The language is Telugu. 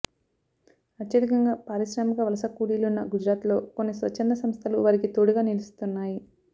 అత్యధికంగా పారిశ్రామిక వలస కూలీలున్న గుజరాత్లో కొన్ని స్వచ్ఛంద సంస్థలు వారికి తోడుగా నిలుస్తున్నాయి